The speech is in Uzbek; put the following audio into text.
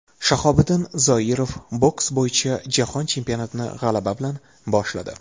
Shahobiddin Zoirov boks bo‘yicha Jahon chempionatini g‘alaba bilan boshladi.